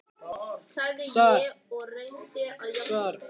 Guðný: Þið haldið fram sakleysi ykkar?